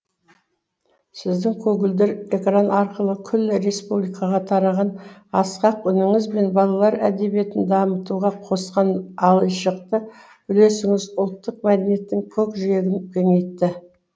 сіздің көгілдір экран арқылы күллі республикаға тараған асқақ үніңіз бен балалар әдебиетін дамытуға қосқан айшықты үлесіңіз ұлттық мәдениеттің көкжиегін кеңейтті